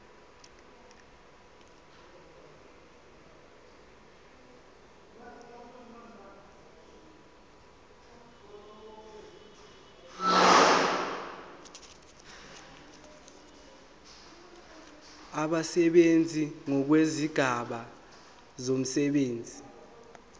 abasebenzi ngokwezigaba zomsebenzi